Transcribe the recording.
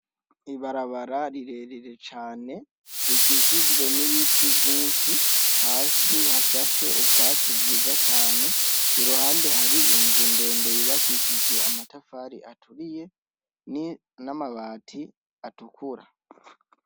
Ibarabara rirerire cane rikikijwe n'ibiti vyinshi hasi hashashe ubwatsi bwiza cane iruhande hari inzu ndende yubakishijwe amatafari aturiye n'amabati atukura.